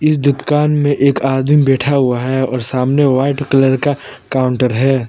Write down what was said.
इस दुकान में एक आदमी बैठा हुआ है और सामने व्हाइट कलर का काउंटर है।